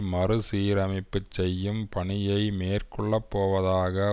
மறுசீரமைப்பு செய்யும் பணியை மேற்கொள்ளப்போவதாக